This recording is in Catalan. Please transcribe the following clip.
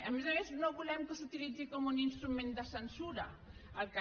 a més a més no volem que s’utilitzi com un instrument de censura el cac